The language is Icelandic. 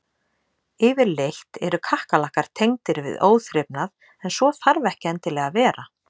Yfirleitt eru kakkalakkar tengdir við óþrifnað en svo þarf ekki endilega að vera.